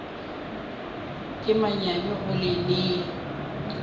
ke manyami go le nea